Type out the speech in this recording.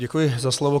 Děkuji za slovo.